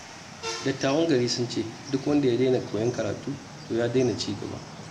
Dattawan gari sun ce, duk wanda ya daina koyon karatu, to ya daina cigaba.